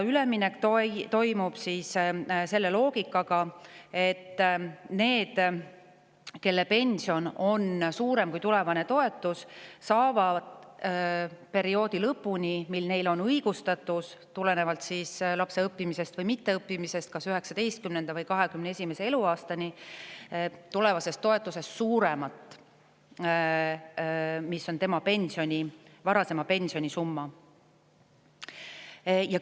Üleminek toimub sellise loogikaga, et nendel, kelle pension on suurem kui tulevane toetus, on õigus saada perioodi lõpuni, mil neil on õigustatus tulenevalt lapse õppimisest või mitteõppimisest, kas 19. või 21. eluaastani, tulevasest toetusest suuremat summat ehk varasema pensioni suurust summat.